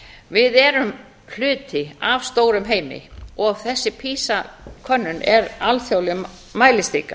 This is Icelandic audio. við erum hluti af stórum heimi þessi pisa könnun er alþjóðleg mælistika